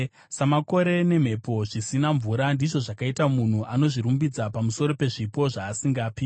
Samakore nemhepo zvisina mvura, ndizvo zvakaita munhu anozvirumbidza pamusoro pezvipo zvaasingapi.